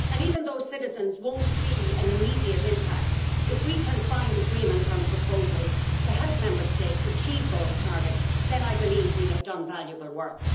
Even though citizens will not see an immediate impact, if we can find agreement on proposals to help Member States achieve those targets, then I believe we will have done valuable work.